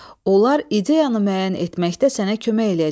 Onlar ideyanı müəyyən etməkdə sənə kömək eləyəcəklər.